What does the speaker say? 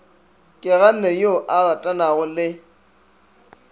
keganne yo a ratanago le